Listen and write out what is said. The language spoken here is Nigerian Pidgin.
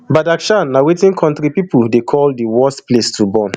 badakhshan na wetin kontri pipo dey call di worst place to born